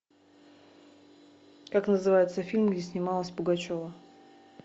как называется фильм где снималась пугачева